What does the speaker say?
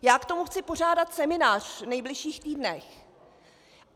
Já k tomu chci pořádat seminář v nejbližších týdnech.